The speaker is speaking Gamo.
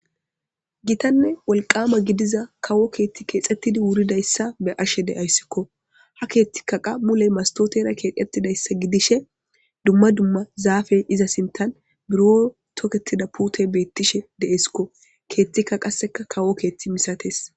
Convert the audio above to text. gitanne wolqama gidiza kawo keethti keexettidi wuridayssa be7ashe deayssikko ha keethtika qa muley mastotera keexettidayssa gidishe dumma dumma zaafe iza sintan buro toketida pute beettishe de7eskko keethtikka qasseka kawo keethti misates